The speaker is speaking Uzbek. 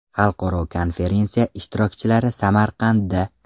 Xalqaro konferensiya ishtirokchilari Samarqandda.